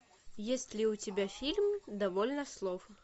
есть ли у тебя фильм довольно слов